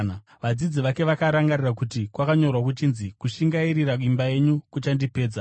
Vadzidzi vake vakarangarira kuti kwakanyorwa kuchinzi, “Kushingairira imba yenyu kuchandipedza.”